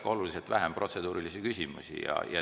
Ma loodan, et siis oleks ka protseduurilisi küsimusi oluliselt vähem.